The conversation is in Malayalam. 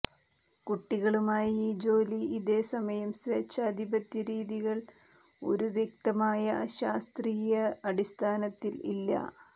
കുട്ടികളുമായി ജോലി ഇതേ സമയം സ്വേച്ഛാധിപത്യ രീതികൾ ഒരു വ്യക്തമായ ശാസ്ത്രീയ അടിസ്ഥാനത്തിൽ ഇല്ല